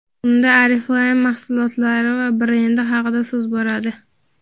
Unda Oriflame mahsulotlari va brendi haqida so‘z boradi.